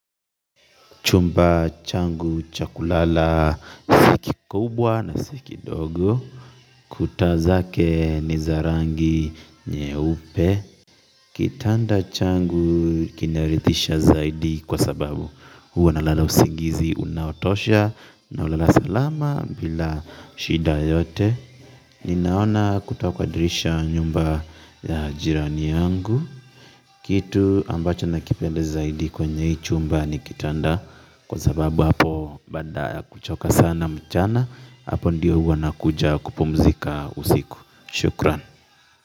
Chumba changu cha kulala si kikubwa na si kidogo. Kuta zake ni za rangi nyeupe. Kitanda changu kinarithisha zaidi kwa sababu huwa nalala usingizi unaotosha na ulala salama bila shida yote. Ninaona kutakuadirisha nyumba ya jirani yangu. Kitu ambacho nakipenda zaidi kwenye hii chumba ni kitanda. Kwa sababu hapo baada ya kuchoka sana mchana hapo ndiyo huwa nakuja kupumzika usiku. Shukran.